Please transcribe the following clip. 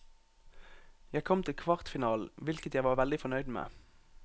Jeg kom til kvartfinalen, hvilket jeg var veldig fornøyd med.